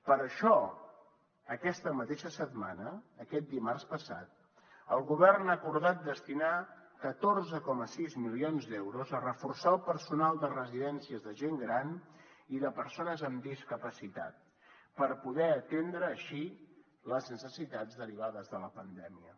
per això aquesta mateixa setmana aquest dimarts passat el govern ha acordat destinar catorze coma sis milions d’euros a reforçar el personal de residències de gent gran i de persones amb discapacitat per poder atendre així les necessitats derivades de la pandèmia